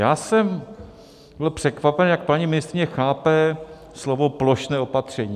Já jsem byl překvapen, jak paní ministryně chápe slovo plošné opatření.